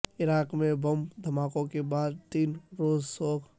عراق میں بم دھماکوں کے بعد تین روزہ سوگ